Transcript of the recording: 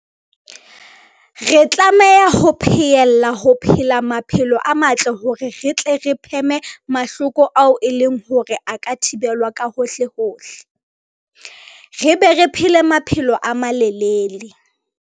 Re tlameha ho pheella ho phela maphelo a matle hore re tle re pheme mahloko ao e leng hore a ka thibelwa ka hohlehohle, re be re phele maphelo a malelele.